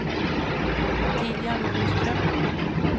Ottilia Norström